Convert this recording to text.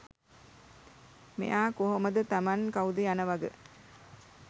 මෙයා කොහොමද තමන් කවුද යනවග